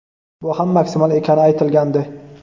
bu ham maksimal ekani aytilgandi.